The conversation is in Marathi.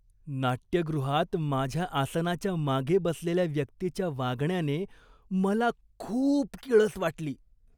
नाट्यगृहात माझ्या आसनाच्या मागे बसलेल्या व्यक्तीच्या वागण्याने मला खूप किळस वाटली.